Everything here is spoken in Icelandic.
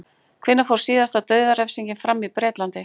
Hvenær fór síðasta dauðarefsing fram í Bretlandi?